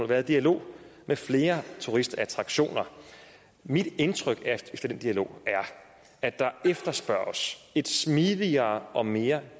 været i dialog med flere turistattraktioner mit indtryk efter den dialog er at der efterspørges et smidigere og mere